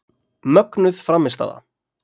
Mögnuð frammistaða.